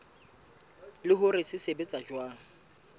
le hore se sebetsa jwang